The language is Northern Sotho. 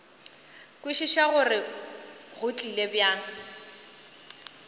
kwešiša gore go tlile bjang